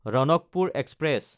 Ranakpur express